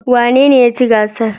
Wanene ya ci gasar?